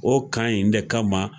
O kan in de kama